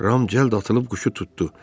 Ram cəld atılıb quşu tutdu.